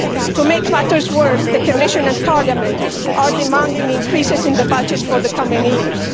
To make matters worse, the Commission and Parliament are demanding increases in the budget for the coming years.